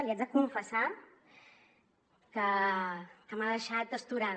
li haig de confessar que m’ha deixat astorada